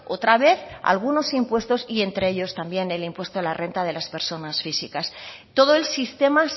otra vez algunos impuestos y entre ellos también el impuesto de la renta de las personas físicas todo el sistema